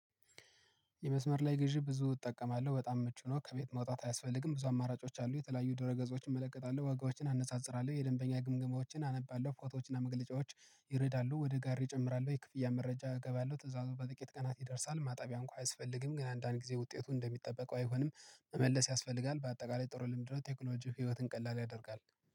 የመስመር ላይ ግዢ ብዙ እጠቀማለሁ በጣም ምቹ ነው። ከቤት መውጣት አያስፈልግም ብዙ አማራጮች አሉ የተለያዩ ድሮ ገጾችን እመለከታለሁ ዋጋዎችን አነጻጽራለሁ የደንበኛ ግምገማዎችን አነባለሁ ፎቶዎችና መግለጫዎች። ይረዳሉ ወደ ጋር ይጨምራሉ ወይ ክፍያ መረጃ እገባለሁ ትእዛዙ በጥቂት ቀናት ይደርሳል። ማጣቢያ እንኳን አያስፈልግም ግን አንዳንድ ጊዜ ውጤቱ እንደሚጠበቀው አይሆንም። መመለስ ያስፈልጋል በአጠቃላይ ጥሩ ልምድ ነው። ቴክኖሎጂው ህይወትን ቀላል ያደርጋል